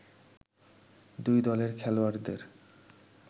দুই দলের খেলোয়াড়দের